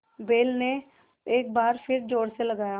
बैल ने एक बार फिर जोर लगाया